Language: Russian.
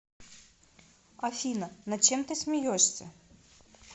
афина над чем ты смеешься